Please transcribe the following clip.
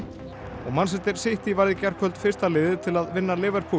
og City varð í gærkvöld fyrsta liðið til að vinna